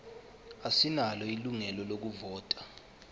asinalo ilungelo lokuvota